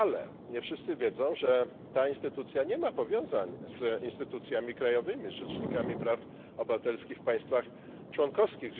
Ale nie wszyscy wiedzą, że ta instytucja nie ma powiązań z instytucjami krajowymi, z rzecznikami praw obywatelskich w państwach członkowskich.